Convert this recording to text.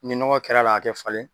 Ni nɔgɔ kɛrla la a tɛ falen